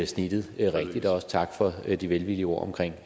snittet rigtigt også tak for de velvillige ord omkring